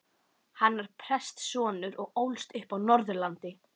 Hann var prestssonur og ólst upp á Norðurlandi.